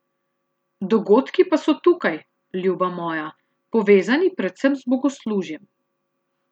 Dogodki pa so tukaj, ljuba moja, povezani predvsem z bogoslužjem.